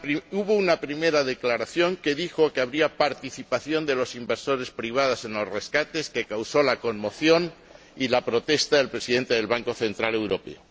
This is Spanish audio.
Hubo una primera declaración en la que se dijo que habría participación de los inversores privados en los rescates, lo que causó conmoción y la protesta del Presidente del Banco Central Europeo.